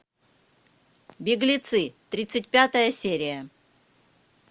беглецы тридцать пятая серия